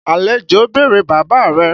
Àlejò ń bèrè bàbá rẹ.